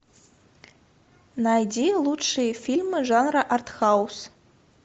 найди лучшие фильмы жанра артхаус